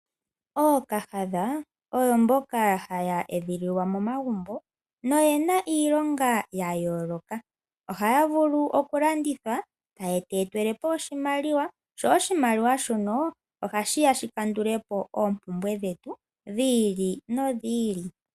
Ookahadha oyo mboka haya edhililwa momagumbo no yena iilonga ya yooloka. Ohaya vulu okulandithwa taye tu etele po oshimaliwa sho oshimaliwa shono ohashi ya shi kandule po oompumbwe dhetu dhi ili nodhi ili.